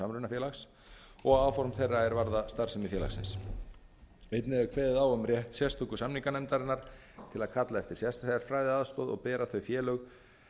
samrunafélags og áform þeirra er varða starfsemi félagsins einnig er kveðið á um rétt sérstöku samninganefndarinnar til að kalla eftir sérfræðiaðstoð og bera þau félög